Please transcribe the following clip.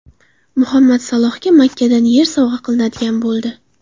Muhammad Salohga Makkadan yer sovg‘a qilinadigan bo‘ldi.